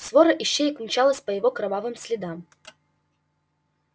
свора ищеек мчалась по его кровавым следам